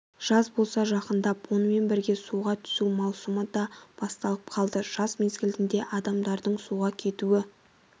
жаз болса жақындап онымен бірге суға түсу маусымы да басталып қалды жаз мезгілінде адамдардың суға кетуі